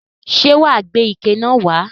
Ṣé wà á gbé ike náà wà á?